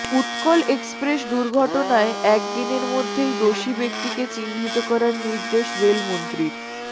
Utkal express দুর্ঘটনায় একদিনের মধ্যেই দোষী ব্যক্তিকে চিহ্নিত করার নির্দেশ রেলমন্ত্রীর